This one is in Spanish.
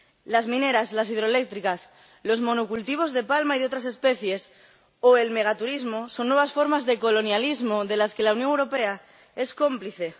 Las mineras, las hidroeléctricas, los monocultivos de palma y de otras especies, o el megaturismo, son nuevas formas de colonialismo, de las que la Unión Europea es cómplice.